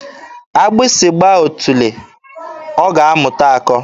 Agbụsị gbaa otule, ọ ga-amụta akọ.